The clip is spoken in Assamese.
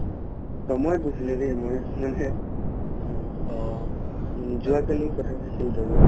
কৈছিলে দেই যোৱাকালি কথা পাতিছিলো আৰু